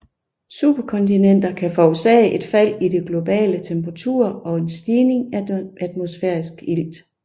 Superkontinenter kan forårsage et fald i de globale temperaturer og en stigning i atmosfærisk ilt